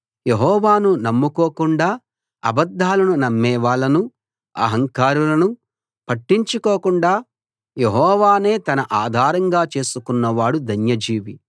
యెహోవాను నమ్ముకోకుండా అబద్దాలను నమ్మేవాళ్ళనూ అహంకారులనూ పట్టించుకోకుండా యెహోవానే తన ఆధారంగా చేసుకున్న వాడు ధన్యజీవి